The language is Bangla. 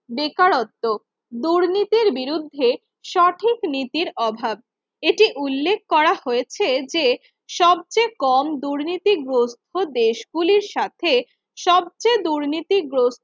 বেকারত্ব দুর্নীতির বিরুদ্ধে সঠিক নীতির অভাব এটি উল্লেখ করা হয়েছে যে সবচেয়ে কম দুর্নীতিগ্রস্ত দেশ গুলির সাথে সবচেয়ে দুর্নীতিগ্রস্ত